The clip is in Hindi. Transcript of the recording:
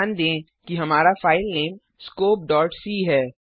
ध्यान दें कि हमारा फाइलनेम scopeसी है